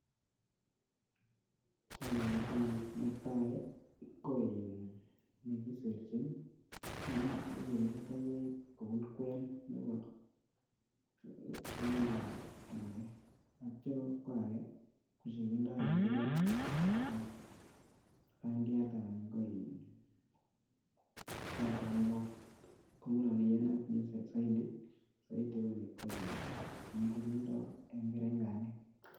Chang oratinwek, netai ko nekiserchin katoldolaik kobun kween nebo lainda ake ak ake, teityo kwo ake kochekindoi eng keringet ak bandiat anan ko kioto kekol. Ko nguno ne iyanat zaidi ko in noto kindoi eng kerenganik.